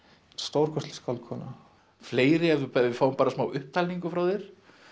stórkostleg skáldkona fleiri ef við fáum smá upptalningu frá þér